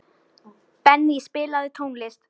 Benný, spilaðu tónlist.